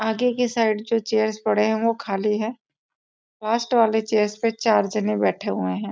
आगे के साइड जो चेयर्स पड़े है वह खाली है लास्ट वाली चेयर पर चार जने बैठे हुए हैं।